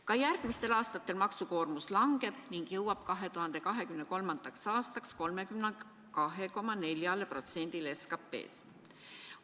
Ka järgmistel aastatel maksukoormus langeb ning jõuab 2023. aastaks 32,4%-le SKT-st.